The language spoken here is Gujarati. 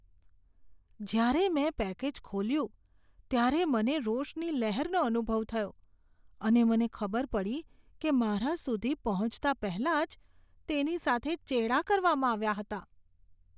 જ્યારે મેં પેકેજ ખોલ્યું ત્યારે મને રોષની લહેરનો અનુભવ થયો અને મને ખબર પડી કે મારા સુધી પહોંચતા પહેલા જ તેની સાથે ચેડા કરવામાં આવ્યા હતા.